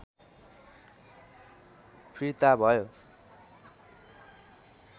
फिर्ता भयो